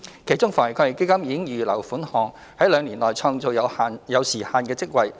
其中，防疫抗疫基金已預留款項，在兩年內創造有時限的職位。